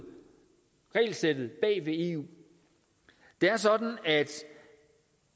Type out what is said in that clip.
regelsættet bag ved eu det er sådan at